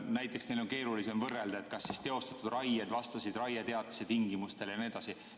Näiteks, neil on keerulisem võrrelda, kas teostatud raied vastasid raieteatise tingimustele jne.